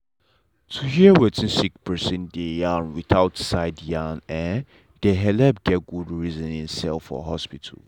to hear wetin sick person dey yarn without side yarn um dey helep get good reasoning um for hospital.